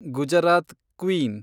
Gujarat queen